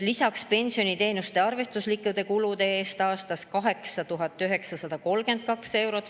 Lisaks on pensioniteenuse arvestuslike kulude aastas 8932 eurot.